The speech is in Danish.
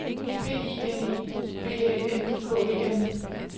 P I N E B Æ N K E N